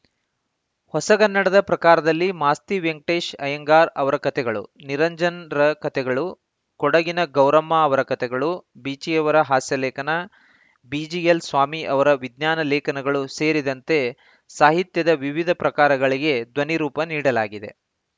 ಹೊಸಗನ್ನಡದ ಪ್ರಕಾರದಲ್ಲಿ ಮಾಸ್ತಿ ವೆಂಕಟೇಶ ಅಯ್ಯಂಗಾರ್‌ ಅವರ ಕಥೆಗಳು ನಿರಂಜನರ ಕಥೆಗಳು ಕೊಡಗಿನ ಗೌರಮ್ಮ ಅವರ ಕಥೆಗಳು ಬೀಚಿಯವರ ಹಾಸ್ಯ ಲೇಖನ ಬಿಜಿಎಲ್‌ ಸ್ವಾಮಿ ಅವರ ವಿಜ್ಞಾನ ಲೇಖನಗಳು ಸೇರಿದಂತೆ ಸಾಹಿತ್ಯದ ವಿವಿಧ ಪ್ರಕಾರಗಳಿಗೆ ಧ್ವನಿ ರೂಪ ನೀಡಲಾಗಿದೆ